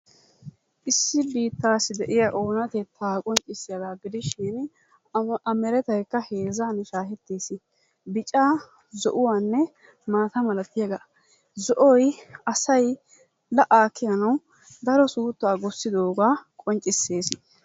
Issi biittaasi de'iya oonatettaa qonccssiyaagaa gidishin a merettaykka heezzan shaheettees bicaa zo'uwaanne maata malattiyaagaa. Zo'oy asay la'aa kiyanawu daro suuttaa gussidogaa qonccisees.